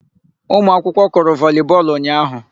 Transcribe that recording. Umụakwụkwọ kụrụ volii bọọlụ ụnyaahụ.